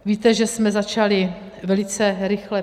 Víte, že jsme začali velice rychle.